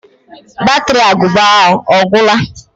Batri agụba ahụ ọ gwụla?